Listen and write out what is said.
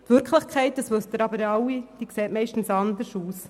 Aber Sie wissen es alle, die Wirklichkeit sieht zumeist anders aus.